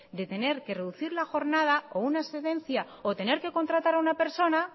de tener que reducir la jornada o una excedencia o tener que contratar a una persona